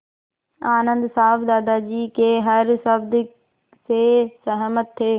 आनन्द साहब दादाजी के हर शब्द से सहमत थे